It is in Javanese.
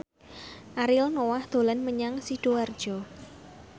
Ariel Noah dolan menyang Sidoarjo